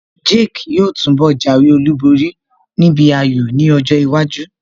Jake yóò túnbọ̀ jáwé olúborí níbi ayò ní ọjọ́ iwájú